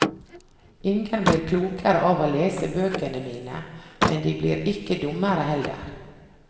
Ingen blir klokere av å lese bøkene mine, men de blir ikke dummere heller.